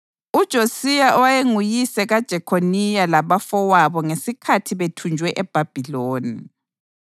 uJosiya owayenguyise kaJekhoniya labafowabo ngesikhathi bethunjwe eBhabhiloni.